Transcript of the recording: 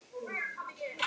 Þó var alltaf nægur matur.